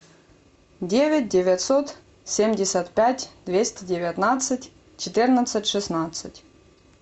девять девятьсот семьдесят пять двести девятнадцать четырнадцать шестнадцать